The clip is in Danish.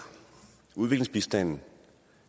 udviklingsbistanden